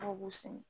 Dɔw b'u sɛnɛ